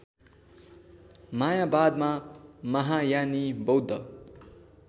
मायावादमा महायानी बौद्ध